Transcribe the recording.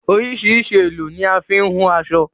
Oríṣìíríṣìí èlò ni a fi ń hun aṣọ.